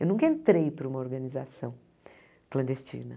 Eu nunca entrei para uma organização clandestina.